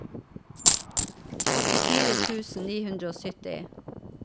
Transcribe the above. åttifire tusen ni hundre og sytti